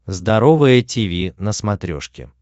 здоровое тиви на смотрешке